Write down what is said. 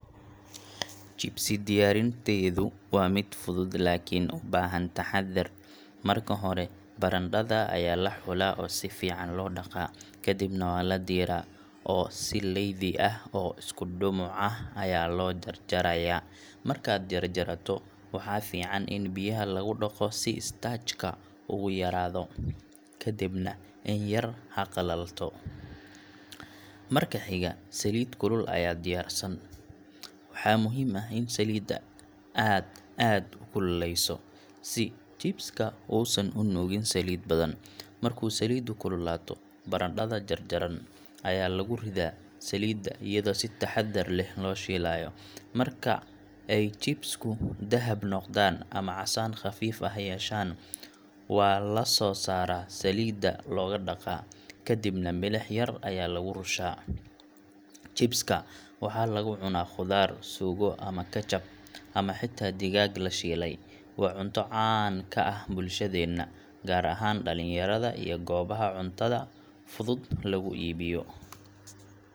Chipsi diyaarinteedu waa mid fudud laakiin u baahan taxaddar. Marka hore, barandhada ayaa la xulaa oo si fiican loo dhaqaa. Kadibna waa la diiraa, oo si leydi ah oo isku dhumuc ah ayaa loo jar-jarayaa. Markaad jarjarto, waxaa fiican in biyaha lagu dhaqo si starch ka u yaraado, kadibna in yar ha qalalato. Marka xiga, saliid kulul ayaa diyaarsan. Waxaa muhiim ah in saliidda aad aad u kululeyso si chips-ka uusan u nuugin saliid badan. Markuu saliiddu kululaato, barandhada jarjarnan ayaa lagu riddaa saliidda iyadoo si taxaddar leh loo shiilayo. Marka ay chips-ku dahab noqdaan ama casaan khafiif ah yeeshaan, waa la soo saaraa, saliidda looga dhaqaa, kadibna milix yar ayaa lagu rushaa. Chips-ka waxaa lagu cunaa khudaar, suugo ama ketchab, ama xitaa digaag la shiilay. Waa cunto caan ka ah bulshadeena, gaar ahaan dhalinyarada iyo goobaha cuntada fudud lagu iibiyo.